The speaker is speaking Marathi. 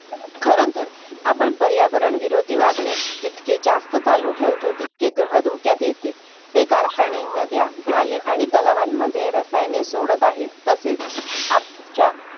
खर तर आपण पर्यावरण विरोधी वागणे जितके जास्त चालू ठेवतो तितके ग्रह धोक्यात येते. हे कारखाने, नद्या, नाले आणि तलावांमध्ये रसायने सोडत आहेत. तसेच आप च्या